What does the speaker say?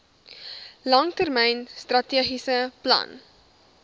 langtermyn strategiese plan